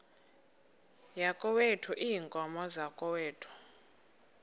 yakokwethu iinkomo zakokwethu